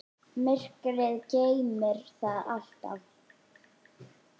Myrkrið geymir það allt.